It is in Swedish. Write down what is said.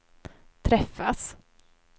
träffas